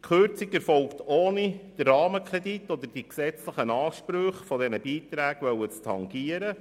Die Kürzung erfolgt, ohne den Rahmenkredit oder die gesetzlichen Ansprüche an diese Beiträge zu tangieren.